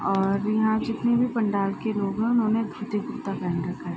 और यहाँ जितने भी पंडाल के लोग हैं उन्होंने धोती कुर्ता पहन रखा है।